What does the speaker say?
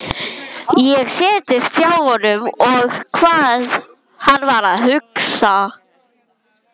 Ég settist hjá honum, sá hvað hann var að hugsa.